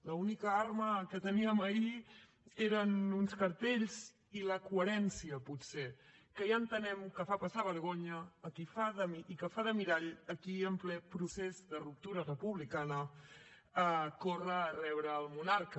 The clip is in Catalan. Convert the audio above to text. l’única arma que teníem ahir eren uns cartells i la coherència potser que ja entenem que fa passar vergonya i que fa de mirall a qui en ple procés de ruptura republicana corre a rebre al monarca